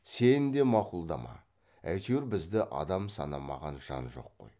сен де мақұлдама әйтеуір бізді адам санамаған жан жоқ қой